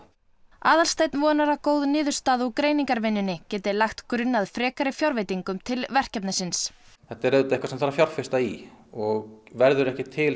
Aðalsteinn vonar að góð niðurstaða úr greiningarvinnunni geti lagt grunn að frekari fjárveitingum til verkefnisins þetta er auðvitað eitthvað sem þarf að fjárfesta í og verður ekki til